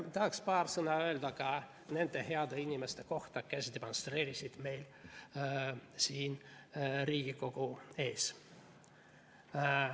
Tahaksin paar sõna öelda ka nende heade inimeste kohta, kes demonstreerisid meil siin Riigikogu ees.